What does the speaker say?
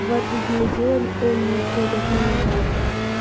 два-три дня сделали о ни уходят ну и ладно